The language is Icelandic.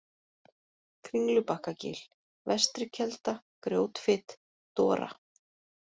Kringlubakkagil, Vestrikelda, Grjótfit, Dora